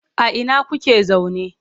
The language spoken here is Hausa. A ina kuke zaune?